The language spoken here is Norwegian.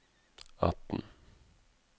atten